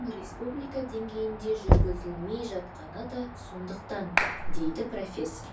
республика деңгейінде жүргізілмей жатқаны да сондықтан дейді профессор